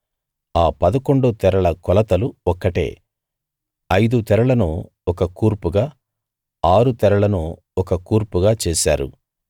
ఆ పదకొండు తెరల కొలతలు ఒక్కటే ఐదు తెరలను ఒక కూర్పుగా ఆరు తెరలను ఒక కూర్పుగా చేశారు